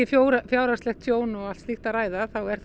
fjárhagslegt tjón og slíkt að ræða þá er